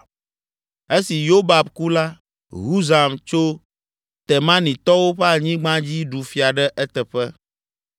Esi Yobab ku la, Husam tso Temanitɔwo ƒe anyigba dzi ɖu fia ɖe eteƒe,